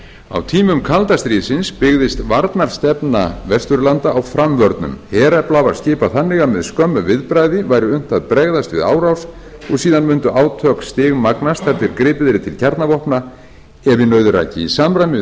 á tímum kalda stríðsins byggðist varnarstefna vesturlanda á framvörnum herafla var skipað þannig að með skömmu viðbragði væri unnt að bregðast við árás og síðan mundu átök stigmagnast þar til gripið yrði til kjarnavopna ef í nauðir ræki í samræmi við